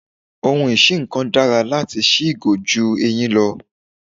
Ohun isí-nǹkan dára láti sí ìgò ju eyin lọ.